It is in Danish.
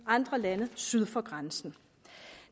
andre lande syd for grænsen